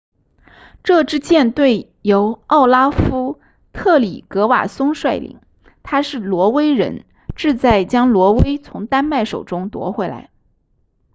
这支舰队由奥拉夫特里格瓦松率领他是挪威人志在将挪威从丹麦手中夺回来